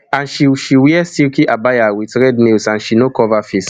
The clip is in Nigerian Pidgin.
and she she wear silky abaya wit red nails and she no cover face